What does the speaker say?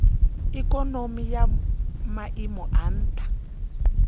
ikonomi ya maiimo a nha